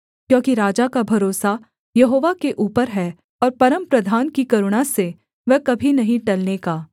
क्योंकि राजा का भरोसा यहोवा के ऊपर है और परमप्रधान की करुणा से वह कभी नहीं टलने का